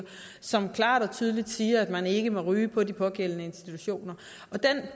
som klart og tydeligt siger at man ikke må ryge på de pågældende institutioner den